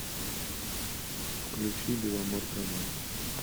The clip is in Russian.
включи беломорканал